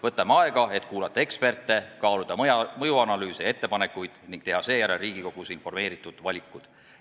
Võtame aega, et kuulata eksperte, kaaluda mõjuanalüüse ja ettepanekuid ning teha seejärel Riigikogus informeeritud valikud.